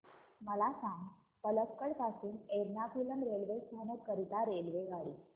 मला सांग पलक्कड पासून एर्नाकुलम रेल्वे स्थानक करीता रेल्वेगाडी